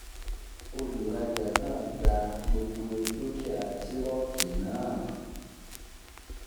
Olùrajà náà gba gbogbo dúkìá - tírọ̀kì náà.